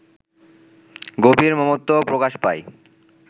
গভীর মমত্ব প্রকাশ পায়